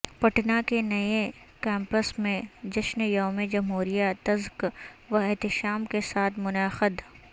پٹنہ کے نئے کیمپس میں جشن یوم جمہوریہ تزک و احتشام کے ساتھ منعقد